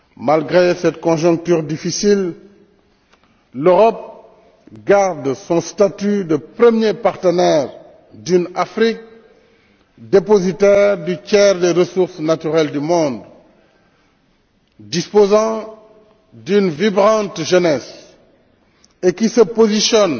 Malgré cette conjoncture difficile, l'Europe garde son statut de premier partenaire d'une Afrique dépositaire du tiers des ressources naturelles du monde, disposant d'une vibrante jeunesse, et qui se positionne